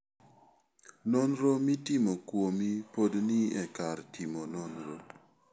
Nonro mitimo kuomi pod ni e kar timo nonro.